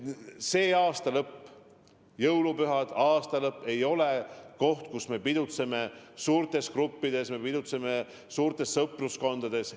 Selle aasta lõpp – jõulupühad ja aastalõpp – ei ole aeg, kus me pidutseme suurtes gruppides, pidutseme suurtes sõpruskondades.